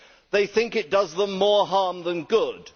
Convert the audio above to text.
they think it does them more harm than good.